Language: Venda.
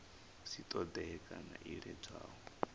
si ṱoḓee kana ḽo iledzwaho